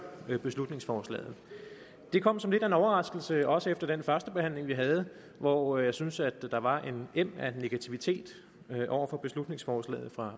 beslutningsforslaget det kom som lidt af en overraskelse også efter den førstebehandling vi havde hvor jeg synes der var en em af negativitet over for beslutningsforslaget fra